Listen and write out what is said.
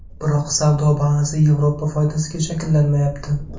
Biroq savdo balansi Yevropa foydasiga shakllanmayapti.